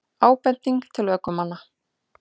Ábending til ökumanna